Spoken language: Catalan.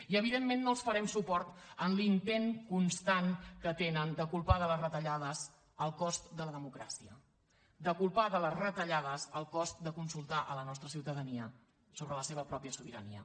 i evidentment no els farem suport en l’intent constant que tenen de culpar de les retallades el cost de la democràcia de culpar de les retallades el cost de consultar la nostra ciutadania sobre la seva pròpia sobirania